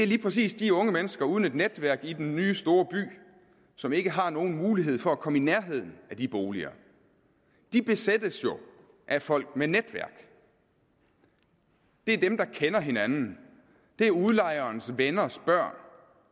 lige præcis de unge mennesker uden netværk i den nye store by som ikke har nogen mulighed for at komme i nærheden af de boliger de besættes jo af folk med netværk det er dem der kender hinanden det er udlejerens venners børn